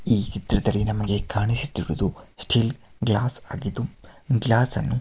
ಈ ಚಿತ್ರದಲ್ಲಿ ನಮಗೆ ಕಾಣಿಸುತ್ತಾ ಇರುವುದು ಸ್ಟೀಲ್ ಗ್ಲಾಸ್ ಆಗಿದ್ದು ಗ್ಲಾಸ್ ಅನ್ನು --